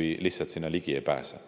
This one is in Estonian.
aga sinna ligi ei pääse.